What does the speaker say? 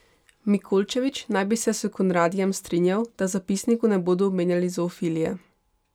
Mikolčević naj bi se s Conradijem strinjal, da v zapisniku ne bodo omenjali zoofilije.